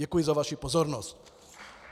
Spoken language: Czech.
Děkuji za vaši pozornost.